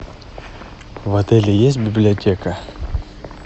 в отеле есть библиотека